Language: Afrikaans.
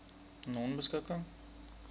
nonebeskikking